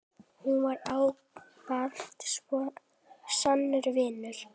Hún var ávallt sannur vinur.